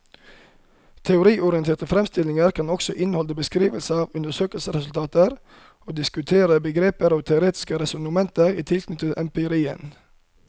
Teoriorienterte fremstillinger kan også inneholde beskrivelser av undersøkelsesresultater og diskutere begreper og teoretiske resonnementer i tilknytning til empirien.